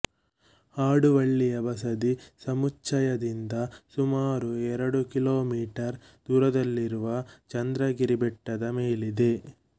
ಹಾಡುವಳ್ಳಿಯ ಬಸದಿ ಸಮುಚ್ಛಯದಿಂದ ಸುಮಾರು ಎರಡು ಕಿಲೋಮೀಟರ್ ದೂರದಲ್ಲಿರುವ ಚಂದ್ರಗಿರಿ ಬೆಟ್ಟದ ಮೇಲಿದೆ